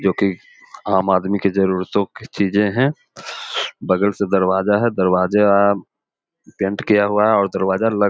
जो कीआम आदमी की जरूरत के चीज हैं बगल से दरवाजा है दरवाजा दरवाजा पेंट किया हुआ है और दरवाजा --